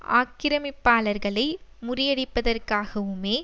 ஆக்கிரமிப்பாளர்களை முறியடிப்பதற்காகவுமே